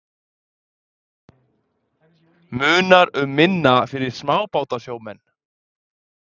Munar um minna fyrir smábátasjómenn?